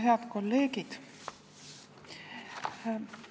Head kolleegid!